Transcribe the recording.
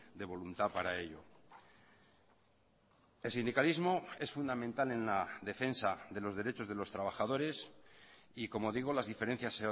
de voluntad para ello el sindicalismo es fundamental en la defensa de los derechos de los trabajadores y como digo las diferencias